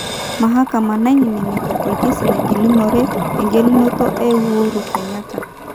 Mahakama naininingito orkesi nagilunore engelunoto e Uhuru Kanyatta.